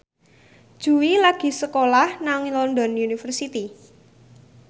Jui lagi sekolah nang London University